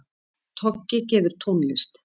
Toggi gefur tónlist